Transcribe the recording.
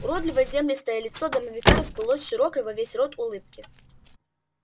уродливое землистое лицо домовика расплылось в широкой во весь рот улыбке